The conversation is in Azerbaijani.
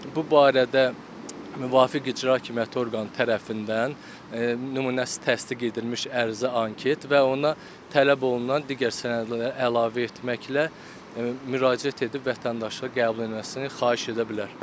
Bu barədə müvafiq icra hakimiyyəti orqanı tərəfindən nümunəsi təsdiq edilmiş ərizə, anket və ona tələb olunan digər sənədlər əlavə etməklə müraciət edib vətəndaşlığa qəbul edilməsini xahiş edə bilər.